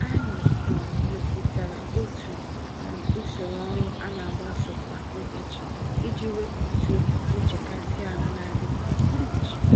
Anyị um mepụtara otu um usoro ọrụ anagbaso kwa ụbọchị, iji wepụtụ̀ nchekasị-ahụ nadị kwa ụbọchị